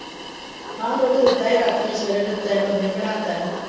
ਹਾਂ ਦੁੱਧ ਤੇ ਦਿੱਤਾ ਹੀ ਰਾਤੀ ਵੀ, ਸਵੇਰੇ ਵੀ ਦਿੱਤਾ ਹੀ ਕੁਝ ਦਈਂ ਬਣਾਤਾ ਹੀ।